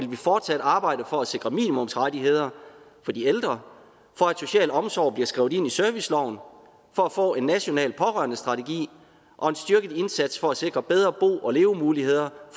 fortsat arbejde for at sikre minimumsrettigheder for de ældre for at social omsorg bliver skrevet ind i serviceloven for at få en national pårørendestrategi og en styrket indsats for at sikre bedre bo og levemuligheder